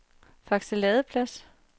Fakse Ladeplads